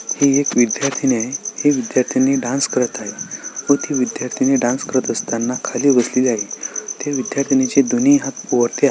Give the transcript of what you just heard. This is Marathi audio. ही एक विध्यार्थिनी आहे ही विध्यार्थिनी डान्स करत आहे व ती विध्यार्थिनी डांस करत असताना खाली बसलेली आहे त्या विध्यार्थिनीचे दोन्ही हात वरती आ--